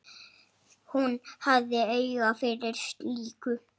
Hún hafði auga fyrir slíku.